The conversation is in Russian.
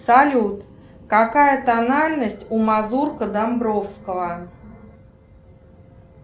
салют какая тональность у мазурка домбровского